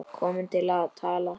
Komin til að tala.